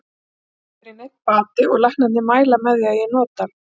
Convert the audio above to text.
Það hefur ekki verið neinn bati og læknarnir mæla með því að ég noti hann.